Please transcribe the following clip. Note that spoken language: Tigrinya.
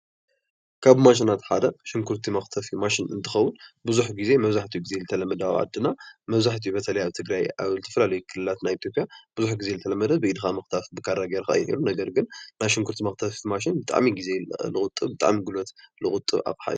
ካብ ማሽናት ሓደ ሽጉርቲ መክተፊ ማሽን እንትከዉን ቡዙሕ ግዜ መብዛሕትኡ ግዜ ዝተለመደ ኣብ ዓዲና መብዛሕትኡ በተለይ ኣብ ትግራይ ኣብ ዝተፋላለዩ ክልላት ናይ ኣብ ኢትዮጲያ ቡዙሕ ግዜ ዝተለመደ ብኢድካ ምክታፍ ብካራ ጌርካ እዩ፡፡ ነገርግን ናይ ሽጉርት ]ቲ መክተፊ ማሽን ብጣዕሚ እዩ ግዜ ዝቁጥብ ብጣዕሚ ጉልብት ዝቁጥብ አቅሓ።